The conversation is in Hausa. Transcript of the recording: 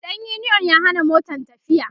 ɗan uniyon ya Hana Motan tafiya